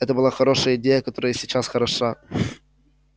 это была хорошая идея которая и сейчас хороша